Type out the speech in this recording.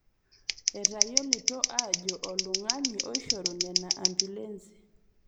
Etayiolito aajo oltung'ani oishorua nena ambiulensi